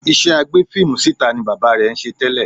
Iṣẹ́ agbé fíìmù síta ni bàbá rẹ̀ ń ṣe tẹ́lẹ̀